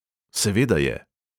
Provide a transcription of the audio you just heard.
Seveda je.